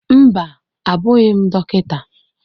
Mba, abụghị m Dọkịta.